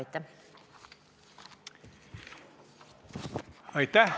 Aitäh!